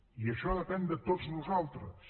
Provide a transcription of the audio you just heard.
i això depèn de tots nosaltres